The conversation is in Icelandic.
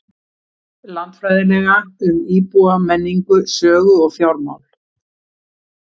Landfræðilega, um íbúa, menningu, sögu og fjármál?